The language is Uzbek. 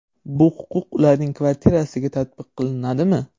Bu huquq ularning kvartirasiga tatbiq qilinadimi?